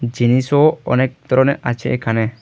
জিনিসও অনেক তরনের আছে এখানে।